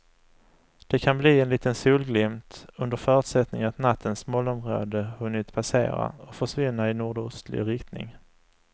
Det kan bli en liten solglimt under förutsättning att nattens molnområde hunnit passera och försvinna i nordostlig riktning.